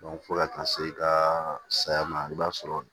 fo ka taa se i ka saya ma i b'a sɔrɔ